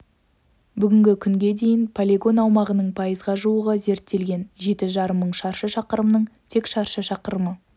бүгінгі күнге дейін полигон аумағының пайызға жуығы зерттелген жеті жарым мың шаршы шақырымның тек шаршы шақырымы